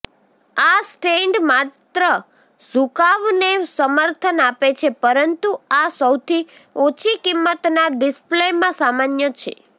આ સ્ટેન્ડ માત્ર ઝુકાવને સમર્થન આપે છે પરંતુ આ સૌથી ઓછી કિંમતના ડિસ્પ્લેમાં સામાન્ય છે